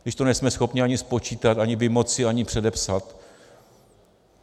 Když to nejsme schopni ani spočítat, ani vymoci, ani předepsat?